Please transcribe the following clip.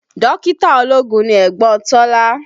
Dókítà ológun ni ẹ̀gbọ́n Tọ́lá